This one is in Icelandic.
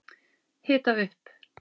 Hita upp